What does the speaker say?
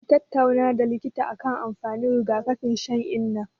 Mun tattauna da likita akan amfanin riga-kafin shan inna.